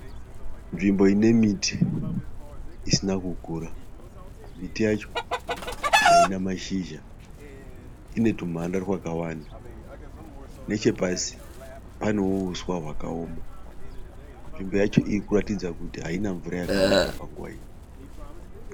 Nzvimbo ine miti isina kukura. Miti yacho haina mashizha ine twumhanda twakawanda. Nechepasi panewo uswa hwakaoma. Nzvimbo yacho iri kuratidza kuti haina mvura yakawanda panguva ino.